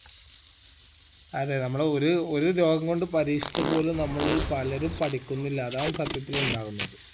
അതെ നമ്മളെ ഒര് ഒരു രോഗം കൊണ്ട് പരീക്ഷിച്ചപോലും നമ്മളിൽ പലരും പഠിക്കുന്നില്ല അതാണ് സത്യത്തിൽ ഉണ്ടാകുന്നത്